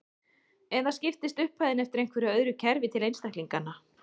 Eða skiptist upphæðin eftir einhverju öðru kerfi til einstaklinganna.